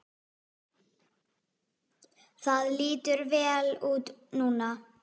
Það lítur vel út núna.